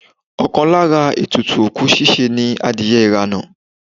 Ọkàn lára ètùtù òkú ṣíṣe ni adìye ìrànà